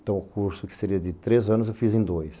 Então o curso que seria de três anos eu fiz em dois.